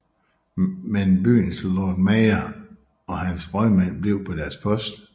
Men byens Lord Mayor og hans rådmænd blev på deres post